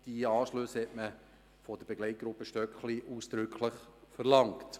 Die Anschlüsse hat die Begleitgruppe unter der Leitung von Hans Stöckli ausdrücklich verlangt.